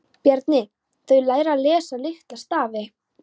Bjarni: Þau læra að lesa litla stafi.